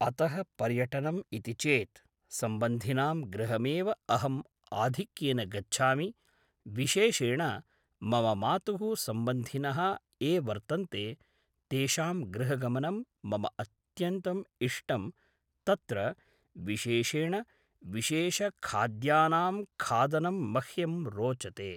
अतः पर्यटनम् इति चेद् सम्बन्धिनां गृहमेव अहम् आधिक्येन गच्छामि विशेषेण मम मातुः सम्बन्धिनः ये वर्तन्ते तेषां गृहगमनं मम अत्यन्तम् इष्टं तत्र विशेषेण विशेषखाद्यानां खादनं मह्यं रोचते